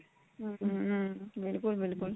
hm ਬਿਲਕੁਲ ਬਿਲਕੁਲ